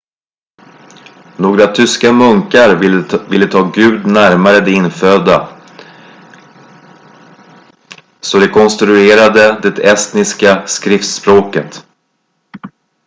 några tyska munkar ville ta gud närmare de infödda så de konstruerade det estniska skriftspråket